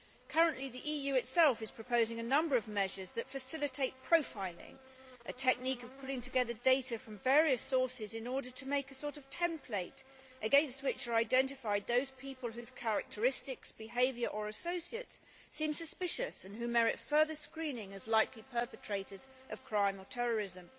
Currently the EU itself is proposing a number of measures that facilitate profiling, a technique of pulling together data from various sources in order to make a sort of template against which are identified those people whose characteristics, behaviour or associates seem suspicious and who merit further screening as likely perpetrators of crime or terrorism.